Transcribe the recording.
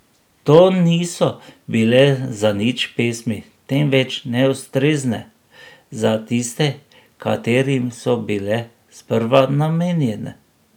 To niso bile zanič pesmi, temveč neustrezne za tiste, katerim so bile sprva namenjene.